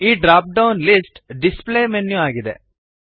ಈ dropdown list display menu ಆಗಿದೆ